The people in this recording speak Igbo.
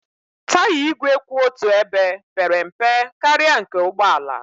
Taya igwe kwụ otu ebe pere mpe karịa nke ụgbọ ala